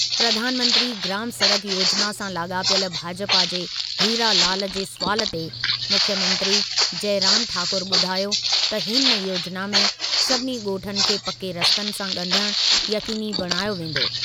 प्रधानमंत्री ग्राम सड़क योजिना सां लाॻापियल भाजपा जे हीरा लाल जे सुवालु ते मुख्यमंत्री जयराम ठाकुर ॿुधायो त हिन योजिना में सभिनी ॻोठनि खे पके रस्तनि सां ॻंढण यक़ीनी बणायो वेंदो।